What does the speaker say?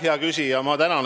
Hea küsija!